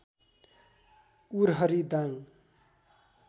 Urahari Dang